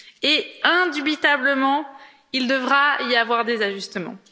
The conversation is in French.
Et, indubitablement, il devra y avoir des ajustements.